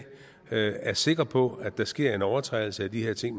er er sikker på at der sker en overtrædelse af de her ting